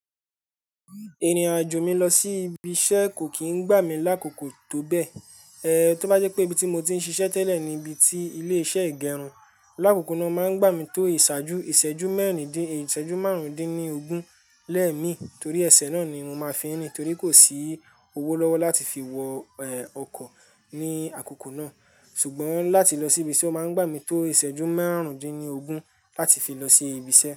Irin-ajo mi lọ si ibi-iṣẹ ko ki n gba mi lakoko to bẹ. To ba jẹ pe ibi ti mo ti n ṣiṣẹ tẹlẹ ni ibi ti ile-iṣẹ igẹrun, lakoko naa ma n gba mi to iṣaaju, iṣẹju mẹrindin, iṣẹju marundin ni ogun lẹmi, tori ẹsẹ naa ni mo ma n fi rin, tori ko si owo lọwọ lati fi wọ ọkọ ni akoko naa. Sugbon lati lo si ibi ise oma n gba mi to iseju marundinlogun lati fi lo si ibi ise.